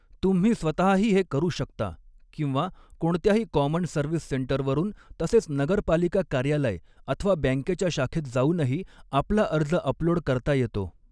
तुम्ही स्वतःही हे करू शकता किंवा कोणत्याही कॉमन सर्व्हिस सेंटर वरून तसेच नगर पालिका कार्यालय अथवा बँकेच्या शाखेत जावूनही आपला अर्ज अपलोड करता येतो.